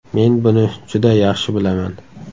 Men buni juda yaxshi bilaman.